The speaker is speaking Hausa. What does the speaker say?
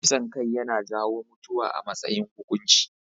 Kisan kai yana jawo mutuwa a matsayin hukunci.